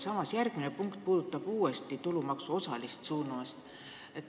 Ja järgmine punkt puudutab uuesti tulumaksu osalist suunamist.